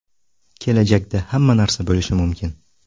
Kelajakda hamma narsa bo‘lishi mumkin.